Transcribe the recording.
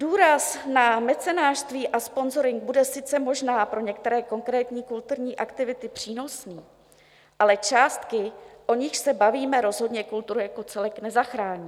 Důraz na mecenášství a sponzoring bude sice možná pro některé konkrétní kulturní aktivity přínosný, ale částky, o nichž se bavíme, rozhodně kulturu jako celek nezachrání.